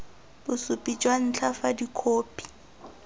bosupi jwa ntlha fa dikhopi